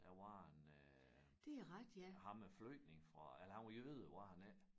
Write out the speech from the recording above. Der var en øh ham æ flygtning fra eller han var jøde var han ikke?